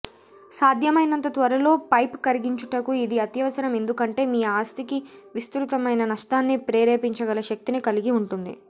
సాధ్యమైనంత త్వరలో పైప్ కరిగించుటకు ఇది అత్యవసరం ఎందుకంటే మీ ఆస్తికి విస్తృతమైన నష్టాన్ని ప్రేరేపించగల శక్తిని కలిగి ఉంటుంది